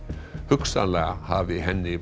hugsanlega hafi henni